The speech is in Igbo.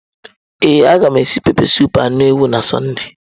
Ee, a ga m esi pepesụpụ anụ ewu na Sọnde.